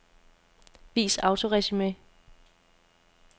Vis autoresumé.